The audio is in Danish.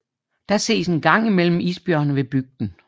Der ses en gang imellem isbjørne ved bygden